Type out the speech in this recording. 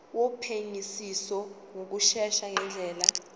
wophenyisiso ngokushesha ngendlela